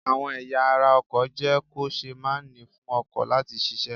Àwọn ẹ̀yà ará ọkọ̀ jẹ́ kò ṣée màá ni fún ọkọ̀ láti ṣiṣẹ́